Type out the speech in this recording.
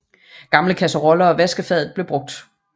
Gamle kasseroller og vaskefade blev brugt